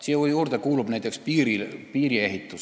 Siia hulka kuulub ka näiteks piiriehitus.